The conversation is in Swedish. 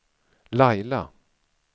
Laila